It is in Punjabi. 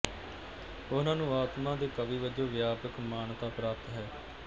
ਉਹਨਾਂ ਨੂੰ ਆਤਮਾ ਦੇ ਕਵੀ ਵਜੋਂ ਵਿਆਪਕ ਮਾਨਤਾ ਪ੍ਰਾਪਤ ਹੈ